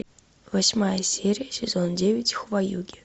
восьмая серия сезон девять хваюги